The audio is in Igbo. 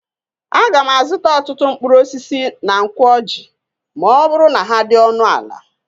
Aga m azụta ọtụtụ mkpụrụ osisi na Nkwo Ọjị ma ọ bụrụ na ha dị ọnụ ala.